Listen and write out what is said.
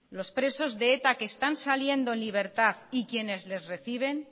los presos de eta que están saliendo en libertad y quienes les reciben